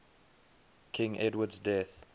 king edward's death